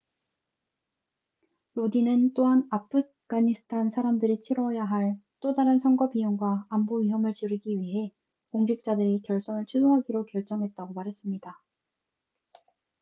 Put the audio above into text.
로딘은 또한 아프가니스탄 사람들이 치뤄야 할 또 다른 선거 비용과 안보 위험을 줄이기 위해 공직자들이 결선을 취소하기로 결정했다고 말했습니다